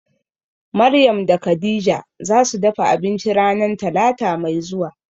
Maryam da Khadijah zasu dafa abinci ranan talata mai zuwa.